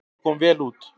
Það kom vel út.